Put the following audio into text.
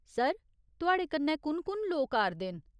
Sir, तुआड़े कन्नै कु'न कु'न लोक आ'रदे न ?